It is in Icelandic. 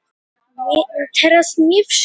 þetta er aðeins sýnishorn af fjórkvæðum eiginnöfnum